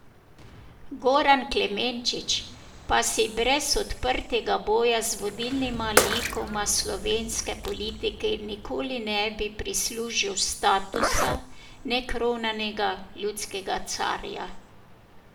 Goran Klemenčič pa si brez odprtega boja z vodilnima likoma slovenske politike nikoli ne bi prislužil statusa nekronanega ljudskega carja.